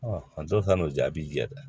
a dɔw ta n'o jaabi jɛ dɛ